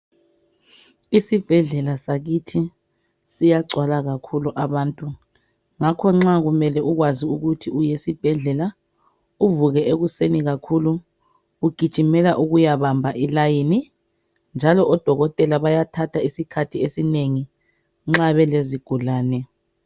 Isibhedlela sakithi siyagcwala kakhulu abantu ngakho nxa ulele ukwazi ukuthi uya esibhedlela, uvuke ekuseni ugijimela ukuyabamba ilayini njalo odokotela bathatha isikhathi esinengi nxa belezigulane.